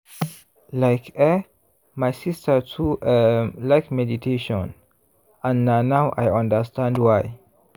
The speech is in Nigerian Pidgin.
like eh my sister too um like meditation and na now i understand why.